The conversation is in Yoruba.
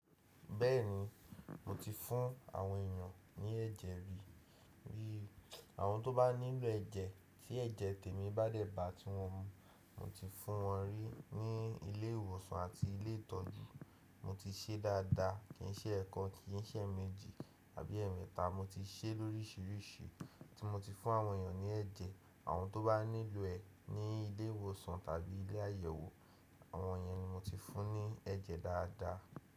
Bẹ́ẹ̀ni, mo ti fún àwọn èèyàn ní ẹ̀jẹ̀ rí. Bí àwọn tó bá nílò ẹ̀jẹ̀ tí ẹ̀jẹ̀ tèmi bá dẹ̀ bá tí wọ́n mu, mo ti fún wọn rí ní ilé ìwòsàn àti ilé ìtọ́jú. Mo ti ṣe é dáadáa, kì í ṣe ẹ̀ kan, kì í ṣe èmẹ́jì tàbí ẹ̀ẹ̀mẹta. Mo ti ṣe é lórísìíríṣìí tí mo ti fún àwọn èèyàn ní ẹ̀jẹ̀. Àwọn tó bá nílò ẹ ní ilé ìwòsàn tàbí ilé àyẹ̀wò, àwọn yẹn ni mo ti fún ní ẹ̀jẹ̀ dáadáa.